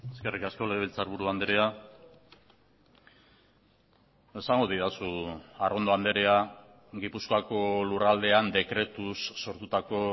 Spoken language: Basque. eskerrik asko legebiltzarburu andrea esango didazu arrondo andrea gipuzkoako lurraldean dekretuz sortutako